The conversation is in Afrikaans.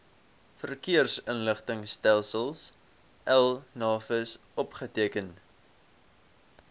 verkeersinligtingstelsel navis opgeteken